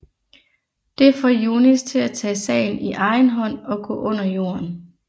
Det får Younis til at tage sagen i egen hånd og gå under jorden